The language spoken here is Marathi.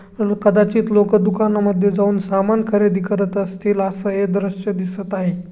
कदाचित लोक दुकाना मध्ये जाऊन सामान खरेदी करत असतील. अस हे दृश्य दिसत आहे.